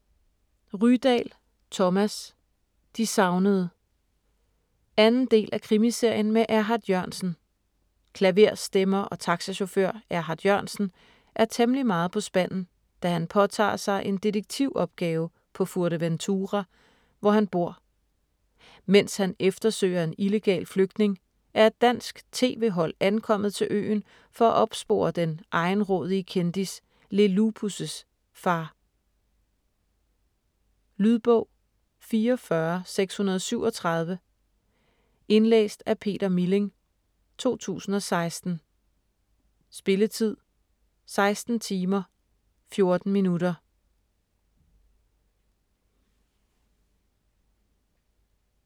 Rydahl, Thomas: De savnede 2. del af Krimiserien med Erhard Jørgensen. Klaverstemmer og taxachauffør Erhard Jørgensen er temmelig meget på spanden, da han påtager sig en detektivopgave på Fuerteventura, hvor han bor. Mens han eftersøger en illegal flygtning, er et dansk tv-hold ankommet til øen for at opspore den egenrådige kendis Le Lupus' far. Lydbog 44637 Indlæst af Peter Milling, 2016. Spilletid: 16 timer, 14 minutter.